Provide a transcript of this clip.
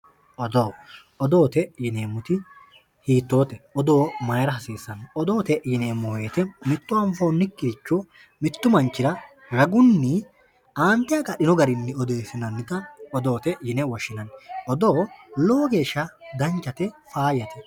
odoo odoote yineemoti hiitoote odoo mayiira hasiissanno odoote yineemo woyite mitto anfoonikkiricho mittu manchira ragunni aateagaxino garinni odeesinannita odoote yine woshinanni odoo lowo geesha danchate faayate